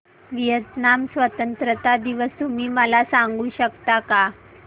Vietnam स्वतंत्रता दिवस तुम्ही मला सांगू शकता का